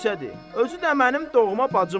Özü də mənim doğma bacımdır.